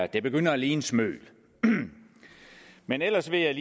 det begynder at ligne smøl men ellers vil jeg